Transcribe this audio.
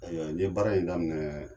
Ayiwa n ye baara in daminɛ